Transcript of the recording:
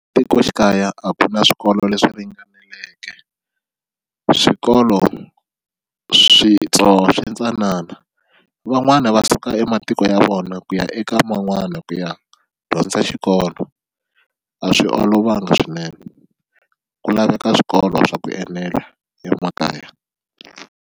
Tikoxikaya a ku na swikolo leswi ringaneleke swikolo switsongo swi ntsanana van'wani va suka ematiko ya vona na ku ya eka man'wana ku ya dyondza xikolo a swi olovanga swinene ku laveka swikolo swa ku enela emakaya.